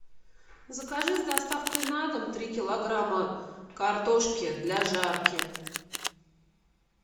закажи с доставкой на дом три килограмма картошки для жарки